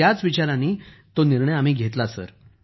तेव्हा याच विचारात आम्ही तो निर्णय घेतला